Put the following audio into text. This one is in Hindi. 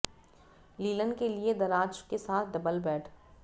लिनन के लिए दराज के साथ डबल बेड